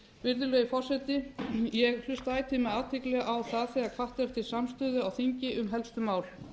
virðulegi forseti ég hlusta ætíð með athygli á það þegar hvatt er til samstöðu á þingi um helstu mál